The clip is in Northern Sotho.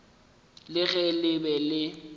le ge le be le